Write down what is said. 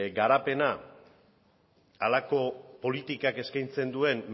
garapena halako politikak eskaintzen duen